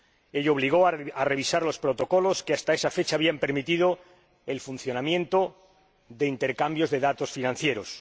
Ello obligó a revisar los protocolos que, hasta esa fecha, habían permitido el funcionamiento de intercambios de datos financieros.